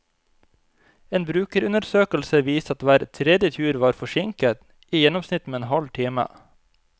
En brukerundersøkelse viste at hver tredje tur var forsinket, i gjennomsnitt med en halv time.